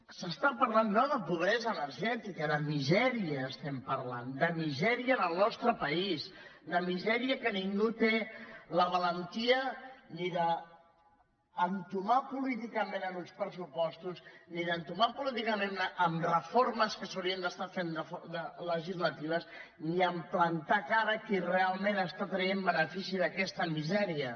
s’està parlant no de pobresa energètica de misèria estem parlant de misèria en el nostre país de misèria que ningú té la valentia ni d’entomar políticament en uns pressupostos ni d’entomar políticament en reformes que s’haurien d’estar fent legislatives ni a plantar cara a qui realment està traient benefici d’aquesta misèria